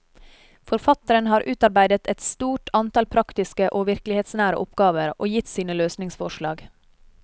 Forfatteren har utarbeidet et stort antall praktiske og virkelighetsnære oppgaver, og gitt sine løsningsforslag.